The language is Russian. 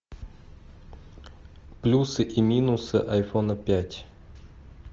плюсы и минусы айфона пять